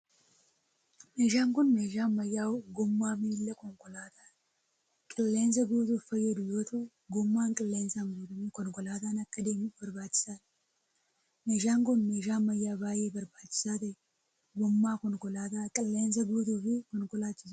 Meeshaan kun meeshaa ammayyaa gommaa miila konkolaataa qilleensa guutuuf fayyadu yoo ta'u, gommaan qilleensaan guutame konkolaataan akka adeemuuf barbaachisaa dha. Meeshaan kun, meeshaa ammayyaa baay'ee barbaachisaa ta'e, gommaa konkolaataa qilleensa guutuu fi konkolaachisuu dha.